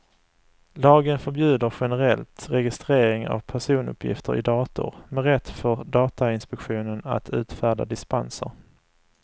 Lagen förbjuder generellt registrering av personuppgifter i dator, med rätt för datainspektionen att utfärda dispenser.